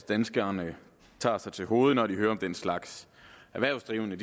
danskerne tager sig til hovedet når de hører om den slags erhvervsdrivende